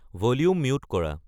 volume mute কৰা